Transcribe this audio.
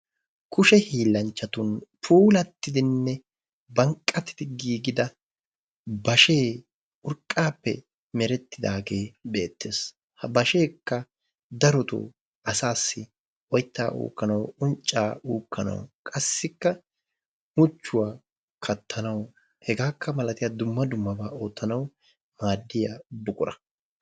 Kushe hiillanchchatun puulattidinne banqqatidi giigida bashee urqqaappe merettidaagee beettes. Ha basheekka darotoo asaassi oyttaa uukkanawu, unccaa uukkanawu, qassikka muchchuwa kattanawu, hegaakka malatiya dumma dummabaa oottanawu maaddiya buqura.